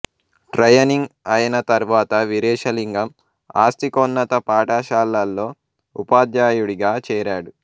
training అయిన తర్వాత వీరేశలింగం ఆస్తికోన్నత పాఠశాలలో ఉపాధ్యాయుడిగా చేరాడు